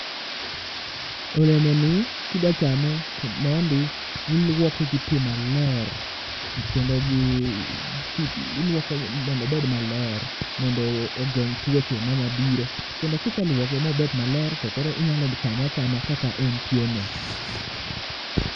olemoni kidwa chame mondi iluoke gi pi maler kendo iluoko mondo obed maler mondo ogeng tuoche manyalo biro, kendo kiseluoke mobedo maler, to koro inyalo chame chame kaka entieno